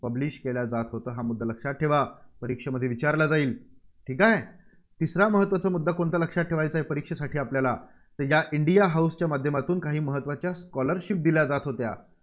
publish केला जात होता हा मुद्दा लक्षात ठेवा. परीक्षेमध्ये विचारला जाईल. ठीक आहे. तिसरा महत्त्वाचा मुद्दा कोणता लक्षात ठेवायचा आहे परीक्षेसाठी आपल्याला या इंडिया हाऊस माध्यमातून काही महत्त्वाच्या scholarship दिल्या जात होत्या.